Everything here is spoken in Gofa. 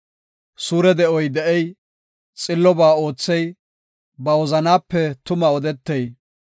Suure de7o de7ey, xillobaa oothey, ba wozanaape tuma odetey,